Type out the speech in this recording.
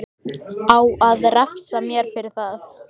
Á að refsa mér fyrir það?